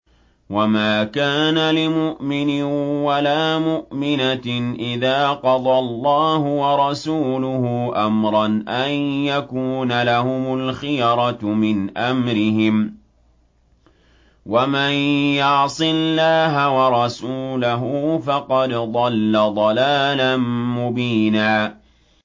وَمَا كَانَ لِمُؤْمِنٍ وَلَا مُؤْمِنَةٍ إِذَا قَضَى اللَّهُ وَرَسُولُهُ أَمْرًا أَن يَكُونَ لَهُمُ الْخِيَرَةُ مِنْ أَمْرِهِمْ ۗ وَمَن يَعْصِ اللَّهَ وَرَسُولَهُ فَقَدْ ضَلَّ ضَلَالًا مُّبِينًا